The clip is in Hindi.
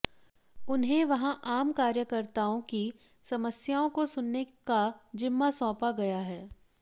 उन्हें वहां आम कार्यकर्ताओं की समस्याओं को सुनने का जिम्मा सौंपा गया है